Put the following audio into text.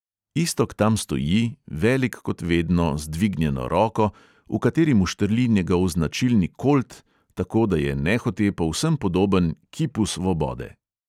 Iztok tam stoji, velik kot vedno, z dvignjeno roko, v kateri mu štrli njegov značilni kolt, tako, da je nehote povsem podoben kipu svobode.